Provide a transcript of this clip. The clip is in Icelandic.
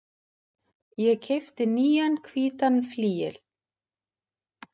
Ég keypti nýjan hvítan flygil.